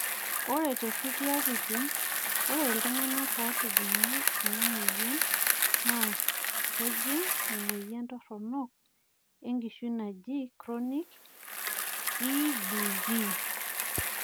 ore to nkulie katitin ore ltunganak otijinga ina moyian naa kejing emoyian toronok enkishui naji chronic EBV